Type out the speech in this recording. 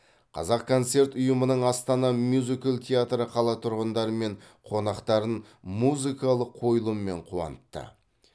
қазақконцерт ұйымының астана мюзикл театры қала тұрғындары мен қонақтарын музыкалық қойылыммен қуантты